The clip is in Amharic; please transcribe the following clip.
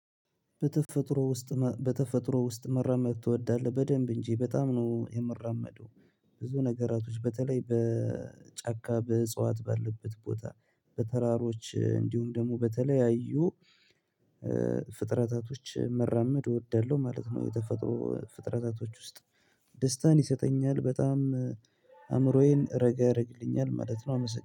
በተፈጥሮ ውስጥ በተፈጥሮ ውስጥ መራመድ ትወዳለህ በደንብ እንጂ በጣም ነው የሚራመደው። ብዙ ነገራቶች በተለይ በጫካ በእጽዋት ባለበት ቦታ በተራሮች እንዲሁም ደግሞ በተለያዩ ፍጥረታቶች መራመድ እወዳለሁ ማለት ነው። የተፈጥሮ ፍጥረታቶች ውስጥ ደስታን ይሰጠኛል በጣም አእምሮዬን ረገረግልኛል ማለት ነው። አመሰግናለሁ